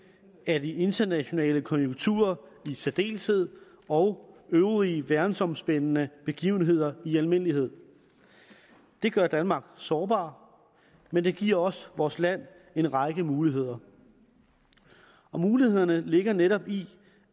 af de internationale konjunkturer i særdeleshed og øvrige verdensomspændende begivenheder i almindelighed det gør danmark sårbar men det giver også vores land en række muligheder og mulighederne ligger netop i